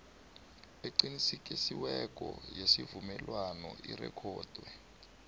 eqinisekisiweko yesivumelwano irikhodwe